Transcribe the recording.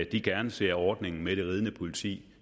de gerne ser ordningen med det ridende politi